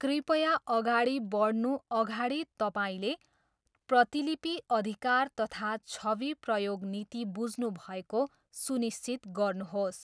कृपया अगाडि बढ्नु अगाडि तपाईँले प्रतिलिपि अधिकार तथा छवि प्रयोग नीति बुझ्नुभएको सुनिश्चित गर्नुहोस्।